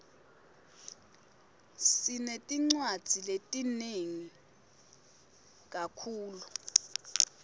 siretiniwadi letingeni lethluluif